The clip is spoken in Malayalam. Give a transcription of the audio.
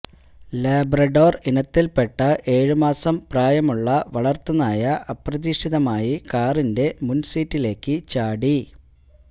ലബ്രഡോര് ഇനത്തില്പ്പെട്ട ഏഴുമാസം പ്രായമുള്ള വളര്ത്തുനായ അപ്രതീക്ഷിതമായി കാറിന്റെ മുന് സീറ്റിലേക്ക് ചാടി